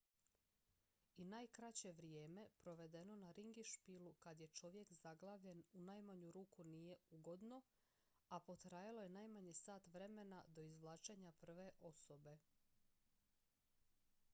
i najkraće vrijeme provedeno na ringišpilu kad je čovjek zaglavljen u najmanju ruku nije ugodno a potrajalo je najmanje sat vremena do izvlačenja prve osobe